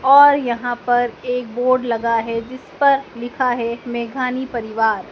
और यहां पे एक बोर्ड लगा है जिस पर लिखा है मेघानी परिवार--